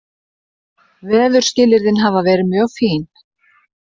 Veðurskilyrðin hafa verið mjög fín